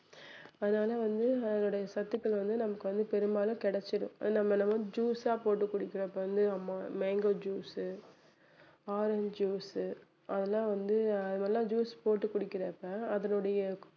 அதனால வந்து இந்த அதனுடைய சத்துக்கள் வந்து நமக்கு வந்து பெரும்பாலும் கிடைச்சிரும் நம்ம நம்ம வந்து juice ஆ போட்டு குடிக்கிறப்ப வந்து ma~ mango juice உ orange juice உ அதெல்லாம் வந்து அத மாதிரி எல்லாம் juice போட்டு குடிக்கிறப்ப அதனுடைய